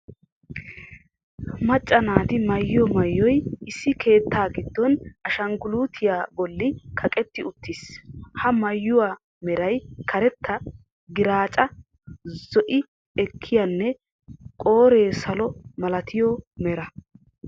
Macca naati maayiyoo maayoy issi keettaa giddon ashanguluutiya bollan kaqqetti uttiis. Ha maayuwa meray karetta, giraacca, zo"i ekkiyanne qoore salo malatiyo meraa.